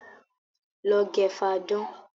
Lọ gẹ fáadán!